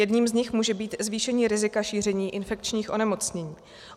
Jedním z nich může být zvýšení rizika šíření infekčních onemocnění.